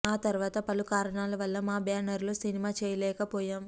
ఆ తర్వాత పలు కారణాల వల్ల మా బ్యానర్ లో సినిమా చేయలేకపోయాం